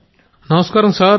గౌరవ్ నమస్కారం సర్